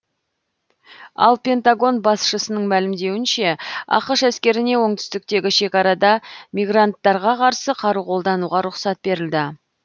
ал пентагон басшысының мәлімдеуінше ақш әскеріне оңтүстіктегі шекарада мигранттарға қарсы қару қолдануға рұқсат берілді